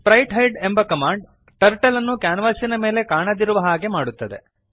sprite hide ಎಂಬ command turtle ಅನ್ನು ಕ್ಯಾನ್ವಾಸಿನ ಮೇಲೆ ಕಾಣದಿರುವ ಹಾಗೆ ಮಾಡುತ್ತದೆ